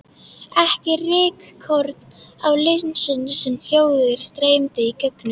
Ekki rykkorn á linsunni sem ljósið streymdi í gegnum.